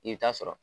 I bɛ taa sɔrɔ